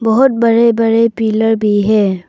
बहुत बड़े बड़े पिलर भी है।